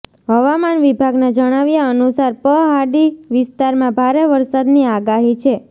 હવામાન વિભાગના જણાવ્યા અનુસાર પ હાડી વિસ્તારમાં ભારે વરસાદની આગાહી છે